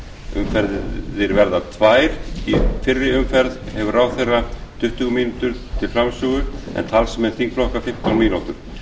umferðir verða tvær í fyrri umferð hefur ráðherra tuttugu mínútur til framsögu en talsmenn þingflokka fimmtán mínútur